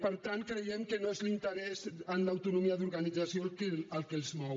per tant creiem que no és l’interès en l’autonomia d’organització el que els mou